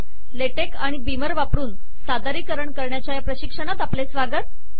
ले टेक आणि बीमर वापरून सादरीकरण करण्याच्या प्रशिक्षणात आपले स्वागत